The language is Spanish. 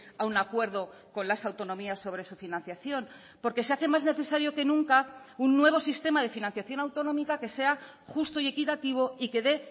a un acuerdo con las autonomías sobre su financiación porque se hace más necesario que nunca un nuevo sistema de financiación autonómica que sea justo y equitativo y que dé